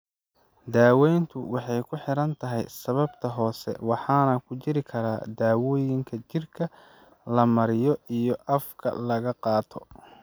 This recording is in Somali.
Daaweyntu waxay ku xiran tahay sababta hoose waxaana ku jiri kara dawooyinka jirka la mariyo iyo afka laga qaato.